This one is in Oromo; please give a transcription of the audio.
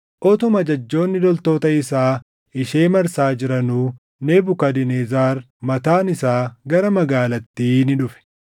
utuma ajajjoonni loltoota isaa ishee marsaa jiranuu Nebukadnezar mataan isaa gara magaalattii ni dhufe.